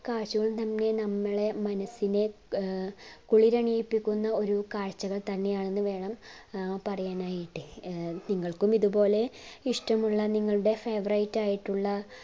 കാഴ്ചകൾ തന്നെ നമ്മളെ മനസ്സിനെ ഏർ കുളിരണിയിപ്പിക്കുന്ന ഒരു കാഴ്ച്ചകൾ തന്നെയാണ് എന്ന് വേണം പറയാനായിട്ട് ഏർ നിങ്ങൾക്കും ഇതുപോലെ ഇഷ്ടമുള്ള നിങ്ങളുടെ favorite ആയിട്ടുള്ള